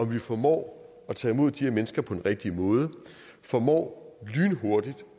vi formår at tage imod de her mennesker på den rigtige måde formår lynhurtigt